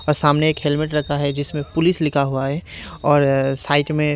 और सामने एक हेलमेट रखा है जिसमें पुलिस लिखा हुआ है और साइड में--